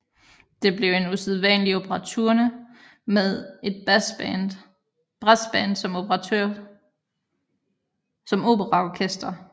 Det blev en usædvanlig operaturne med et brassband som operaorkester